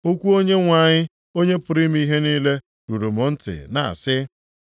Okwu Onyenwe anyị, Onye pụrụ ime ihe niile ruru m ntị na-asị,